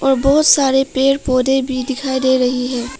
यहां बहुत सारे पेड़ पौधे भी दिखाई दे रही है।